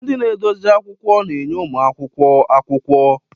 Ndị na-edozi akwụkwọ na-enye ụmụ akwụkwọ akwụkwọ.